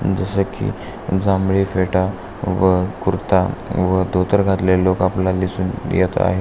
जस की जांभळी फेटा व कुर्ता व धोतर घातलेली लोक आपल्याला दिसून येत आहे.